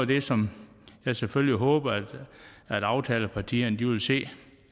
det som jeg selvfølgelig håber aftalepartierne vil se